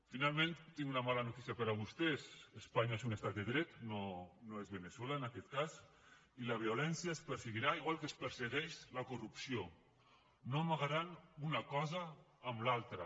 finalment tinc una mala noticia per a vostès espanya és un estat de dret no és veneçuela en aquest cas i la violència es perseguirà igual que es persegueix la corrupció no amagaran una cosa amb l’altra